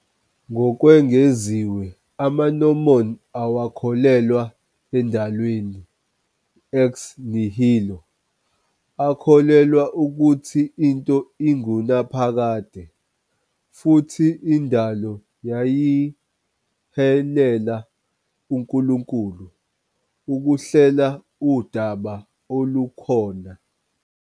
Ngokwengeziwe, amaMormon awakholelwa endalweni "ex nihilo", akholelwa ukuthi into ingunaphakade, futhi indalo yayihilela uNkulunkulu ukuhlela udaba olukhona.